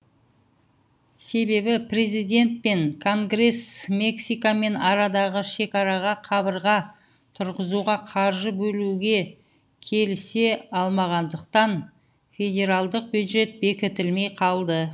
себебі президент пен конгресс мексикамен арадағы шекараға қабырға тұрғызуға қаржы бөлуге келісе алмағандықтан федералдық бюджет бекітілмей қалды